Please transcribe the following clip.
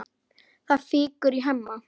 Það fýkur í Hemma.